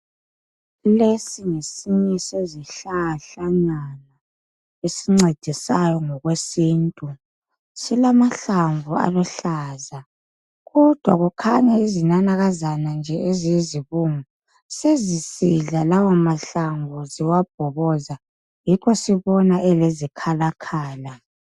Lesi ngesinye sezihlahlanyana esincedisayo ngokwesintu .Silamahlamvu aluhlaza ,kodwa kukhanya izinanakazana nje eziyizibungu .Sezisidla lawa mahlamvu ziwabhoboza ,yikho sibona elezikhala khala.